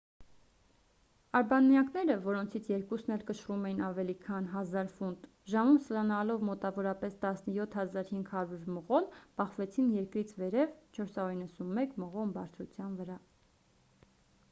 արբանյակները որոնցից երկուսն էլ կշռում էին ավելի քան 1,000 ֆունտ ժամում սլանալով մոտավորապես 17,500 մղոն բախվեցին երկրից վերև 491 մղոն բարձրության վրա